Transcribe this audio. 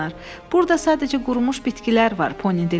Burda sadəcə qurumuş bitkilər var, Pony dilləndi.